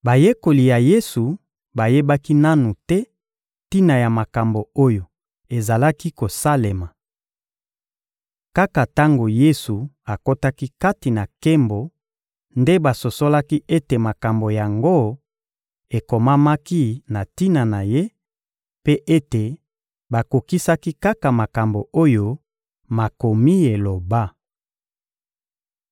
Bayekoli ya Yesu bayebaki nanu te tina ya makambo oyo ezalaki kosalema. Kaka tango Yesu akotaki kati na nkembo nde basosolaki ete makambo yango ekomamaki na tina na Ye, mpe ete bakokisaki kaka makambo oyo Makomi eloba.